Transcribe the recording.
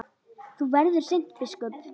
Þú verður seint biskup!